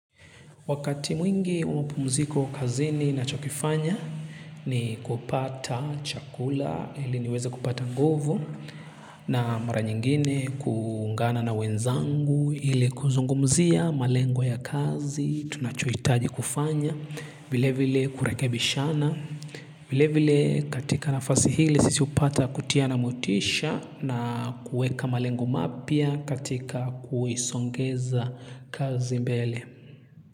Wakati mwingi wa mapumziko kazini nachokifanya ni kupata chakula ili niweze kupata nguvu na mara nyingine kuungana na wenzangu ili kuzungumzia malengo ya kazi tunachohitaji kufanya. Vile vile kurekebishana. Vile vile katika nafasi ile sisi hupata kutiana motisha na kuweka malengo mapya katika kuisongeza kazi mbele.